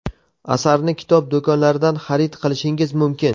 Asarni kitob do‘konlaridan xarid qilishingiz mumkin.